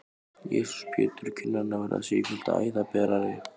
Jesús Pétur, kinnarnar verða sífellt æðaberari!